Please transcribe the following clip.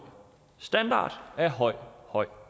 standard og af høj høj